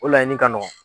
O laɲini ka nɔgɔn